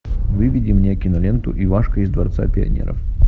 выведи мне киноленту ивашка из дворца пионеров